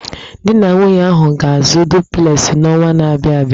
Di na nwunye ahụ ga-azụ duplesị n'ọnwa na-abịa abịa.